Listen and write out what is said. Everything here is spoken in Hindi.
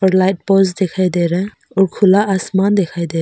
लाइट पोल्स दिखाई दे रहा है और खुला आसमान दिखाई दे रहा है।